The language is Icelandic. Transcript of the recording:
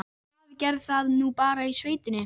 Ég hélt að afi gerði það nú bara í sveitinni.